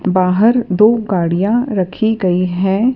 बाहर दो गाड़ियाँ रखीं गई हैं।